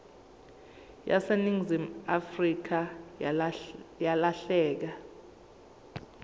yaseningizimu afrika yalahleka